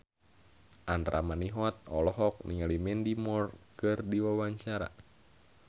Andra Manihot olohok ningali Mandy Moore keur diwawancara